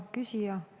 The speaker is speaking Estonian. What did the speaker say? Hea küsija!